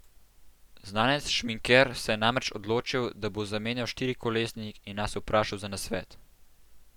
Znanec šminker se je namreč odločil, da bo zamenjal štirikolesnik, in nas vprašal za nasvet.